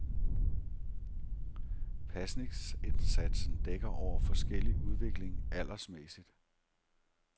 Pasningsindsatsen dækker over forskellig udvikling aldersmæssigt.